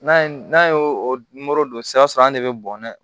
N'a ye n'a ye o modon sisan an de bɛ bɔnɛ